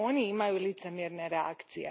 Oni imaju licemjerne reakcije.